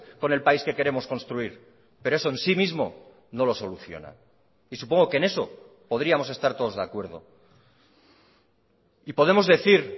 con el país que queremos construir pero eso en sí mismo no lo soluciona y supongo que en eso podríamos estar todos de acuerdo y podemos decir